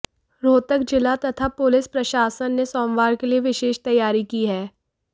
रोहतक जिला तथा पुलिस प्रशासन ने सोमवार के लिए विशेष तैयारी की है